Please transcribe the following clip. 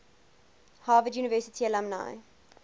harvard university alumni